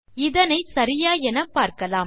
இதனை சரியா என பார்க்கலாம்